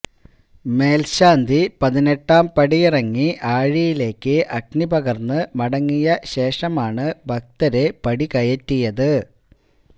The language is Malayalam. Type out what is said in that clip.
മേൽശാന്തി പതിനെട്ടാം പടിയിറങ്ങി ആഴിയിലേക്ക് അഗ്നിപകർന്ന് മടങ്ങിയ ശേഷമാണ് ഭക്തരെ പടികയറ്റിയത്